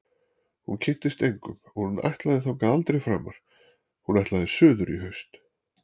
Hún kynntist engum og hún ætlaði þangað aldrei framar- hún ætlaði suður í haust.